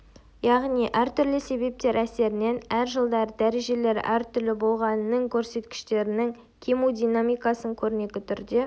яғни әртүрлі себептер әсерінен әр жылдары дәрежелері әртүрлі болған нің көрсеткіштерінің кему динамикасын көрнекі түрде